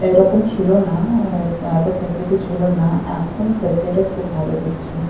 এরকম ছিল না এ এত ফ্যাসিলিটি ছিল না এখন ফ্যাসিলিটি খুব ভালো দিচ্ছে।